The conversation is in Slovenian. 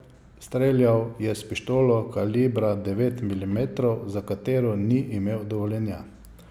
Streljal je s pištolo kalibra devet milimetrov, za katero ni imel dovoljenja.